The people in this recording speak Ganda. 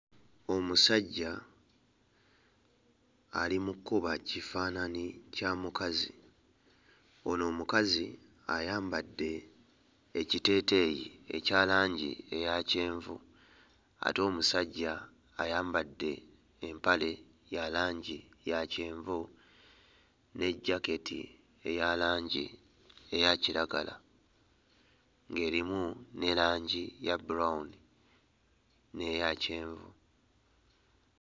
Omusajja ali mu kkuba kifaananyi kya mukazi ono omukazi ayambadde ekiteeteeyi ekya langi eya kyenvu ate omusajja ayambadde empale ya langi ya kyenvu ne jaketi eya langi eya kiragala ng'erimu ne langi ya brown n'eya kyenvu.